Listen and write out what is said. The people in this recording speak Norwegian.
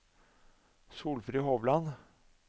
Solfrid Hovland